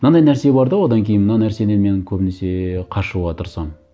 мынандай нәрсе бар да одан кейін мына нәрседен мен көбінесе қашуға тырысамын